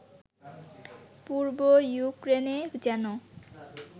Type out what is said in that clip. পূর্ব ইউক্রেনে যেন